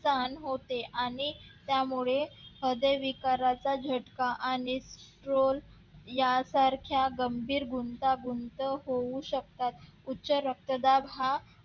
स्थान होते आणि त्यामुळे हृदय विकाराचा झटका आणि roll यासारख्या गंभीर गुंतागुंत होऊ शकतात उच्च रक्तदाब हा